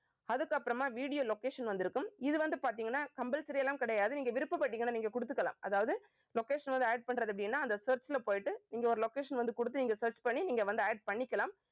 அதுக்கப்புறமா video location வந்திருக்கும். இது வந்து பாத்தீங்கன்னா compulsory எல்லாம் கிடையாது. நீங்க விருப்பப்பட்டீங்கன்னா நீங்க கொடுத்துக்கலாம். அதாவது location வந்து add பண்றது அப்படின்னா அந்த search ல போயிட்டு நீங்க ஒரு location வந்து கொடுத்து, நீங்க search பண்ணி நீங்க வந்து add பண்ணிக்கலாம்